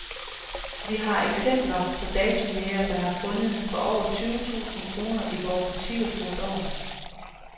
Vi har eksempler på datojægere, der har fundet for over tyve tusinde kroner i vore butikker på et år.